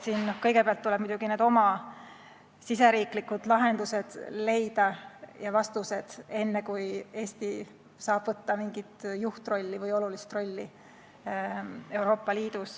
Kõigepealt tuleb muidugi leida oma riigisisesed lahendused ja vastused, enne kui Eesti saab Euroopa Liidus võtta juhtrolli või mingi olulise rolli.